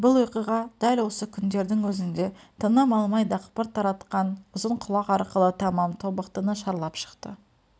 бұл оқиға дәл осы күндердің өзінде тыным алмай дақпырт таратқан ұзынқұлақ арқылы тамам тобықтыны шарлап шықты